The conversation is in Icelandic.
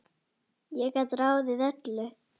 Ég gat ráðið öllu.